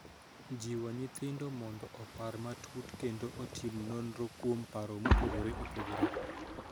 Jiwo nyithindo mondo opar matut kendo otim nonro kuom paro mopogore opogore.